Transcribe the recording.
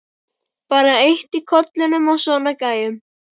Bara eitt í kollinum á svona gæjum.